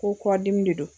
Ko kɔ dimi de don